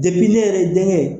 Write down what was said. ne yɛrɛ denkɛ